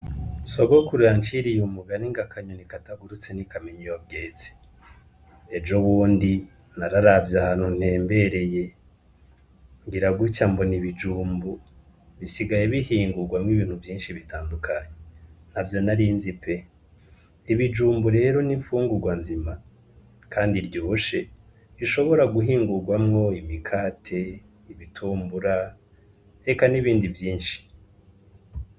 Sogokuruya nciriye umugani nga kanyoni katagurutse n'ikamenyi yobwezi ejo wundi nararavya hantu ntembereye ngoira guca mbo na ibijumbu bisigaye bihingurwamwo ibintu vyinshi bitandukanyi na vyo narinzi pe ibijumbu rero n'imfungurwa nzima, kandi ryushe rishobora guhingurwamwo imikate ibitumbura reka n'ibindi vyinshi.